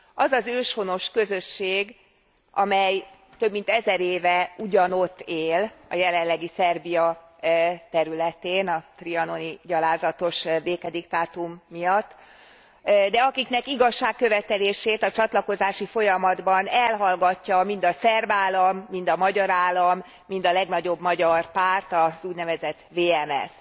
Az az őshonos közösség, amely több mint ezer éve ugyanott él a jelenlegi Szerbia területén, a trianoni gyalázatos békediktátum miatt de akiknek igazságkövetelését a csatlakozási folyamatban elhallgatja mind a szerb állam, mind a magyar állam, mind a legnagyobb magyar párt, az úgynevezett VMSZ.